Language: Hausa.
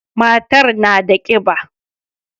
Matar na da kiba.